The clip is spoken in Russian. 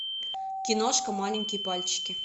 киношка маленькие пальчики